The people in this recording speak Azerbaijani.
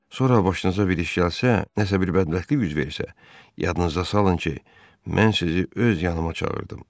Sonra başınıza bir iş gəlsə, nəsə bir bədbəxtlik üz versə, yadınızda salın ki, mən sizi öz yanıma çağırdım.